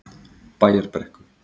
Bæjarbrekku